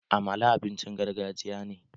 Amala abincin gargajiya ne